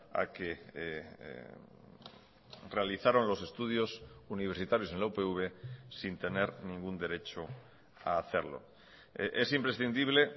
a que realizaron los estudios universitarios en la upv sin tener ningún derecho a hacerlo es imprescindible